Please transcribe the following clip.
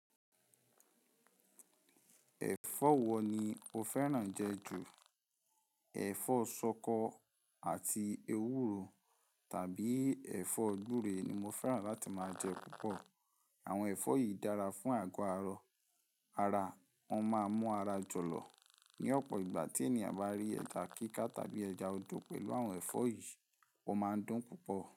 Ẹ̀fọ́ wo ni o fẹ́ràn jẹ ju? Ẹ̀fọ́ ṣọkọ àti ewúro tàbí ẹ̀fọ́ gbúre ni mo fẹ́ràn láti máa jẹ púpọ̀. Àwọn ẹ̀fọ́ yìí dára fún àgọ́-ara, ara máa mú ara jọ̀lọ̀. Ni ọ̀pọ̀ ìgbà tí ènìyàn bá rí ẹja kíká tàbí ẹja ojò pẹ̀lú àwọn ẹ̀fọ́ yìí, wọ́n máa dùn púpọ̀